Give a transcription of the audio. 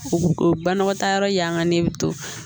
O o banakɔtaa yɔrɔ y'an kan ne bɛ to